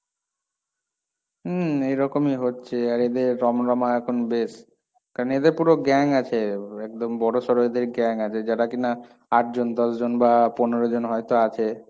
উম, এইরকমই হচ্ছে, আর এদের রমরমা এখন বেশ, কারণ এদের পুরো gang আছে, একদম বড়সড় এদের gang আছে, যারা কিনা আট জন, দশ জন বা পনেরো জন হয়তো আছে,